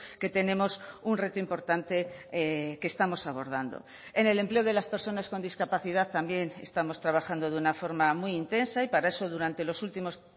que tenemos un reto importante que estamos abordando en el empleo de las personas con discapacidad también estamos trabajando de una forma muy intensa y para eso durante los últimos